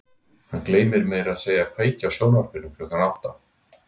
Hann gleymir meira að segja að kveikja á sjónvarpinu klukkan átta.